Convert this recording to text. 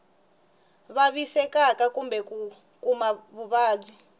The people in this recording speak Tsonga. vavisekaka kumbe ku kuma vuvabyi